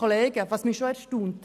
Etwas erstaunt mich aber schon.